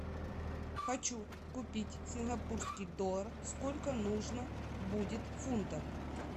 хочу купить сингапурский доллар сколько нужно будет фунтов